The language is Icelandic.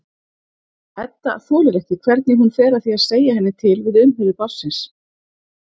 Edda þolir ekki hvernig hún fer að því að segja henni til við umhirðu barnsins.